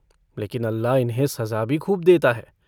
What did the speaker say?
लेकिन अल्लाह इन्हें सज़ा भी खूब देता है।